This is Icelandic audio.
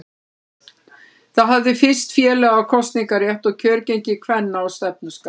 Það hafði fyrst félaga kosningarétt og kjörgengi kvenna á stefnuskrá.